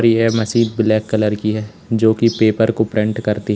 यह machine black colour की है जो की पेपर को प्रिंट करती है।